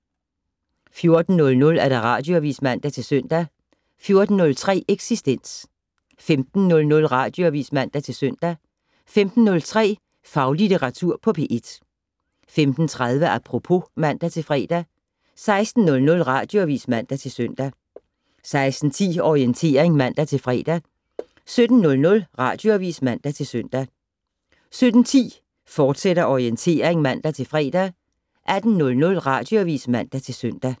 14:00: Radioavis (man-søn) 14:03: Eksistens 15:00: Radioavis (man-søn) 15:03: Faglitteratur på P1 15:30: Apropos (man-fre) 16:00: Radioavis (man-søn) 16:10: Orientering (man-fre) 17:00: Radioavis (man-søn) 17:10: Orientering, fortsat (man-fre) 18:00: Radioavis (man-søn)